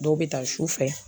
Dɔw bɛ ta sufɛ